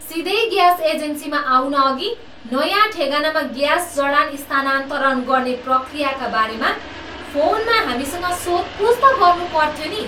सिधै ग्यास एजेन्सीमा आउनअघि नयाँ ठेगानामा ग्यास जडान स्थानान्तरण गर्ने प्रक्रियाका बारेमा फोनमा हामीसँग सोधपुछ त गर्नुपर्थ्यो नि।